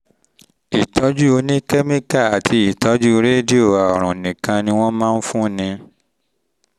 ìtọ́jú oníkẹ́míkà àti ìtọ́jú rédíò àrùn nìkan ni wọ́n máa ń fúnni